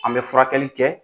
An bɛ furakɛli kɛ